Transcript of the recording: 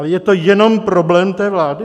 Ale je to jenom problém té vlády?